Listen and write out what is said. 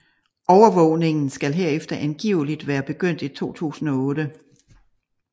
Overvågningen skal herefter angiveligt være begyndt i 2008